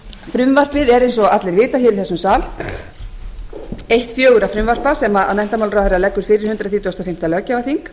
frumvarpið er eins og allir vita hér í þessum sal eitt fjögurra frumvarpa sem menntamálaráðherra leggur fyrir hundrað þrítugasta og fimmta löggjafarþing